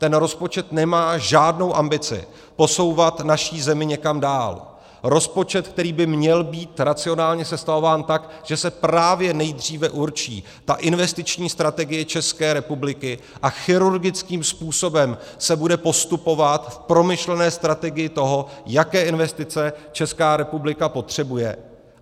Ten rozpočet nemá žádnou ambici posouvat naši zemi někam dál, rozpočet, který by měl být racionálně sestavován tak, že se právě nejdříve určí ta investiční strategie České republiky a chirurgickým způsobem se bude postupovat v promyšlené strategii toho, jaké investice Česká republika potřebuje.